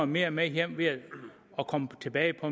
mere med hjem ved at komme tilbage på